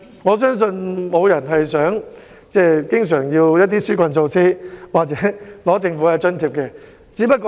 我相信沒有人想經常要求一些紓困措施或申領政府的津貼。